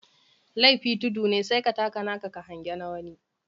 Lefi tudu ne sai ka taka naka ka hange na wani.